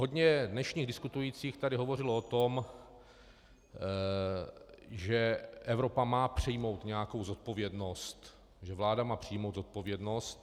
Hodně dnešních diskutujících tady hovořilo o tom, že Evropa má přijmout nějakou zodpovědnost, že vláda má přijmout zodpovědnost.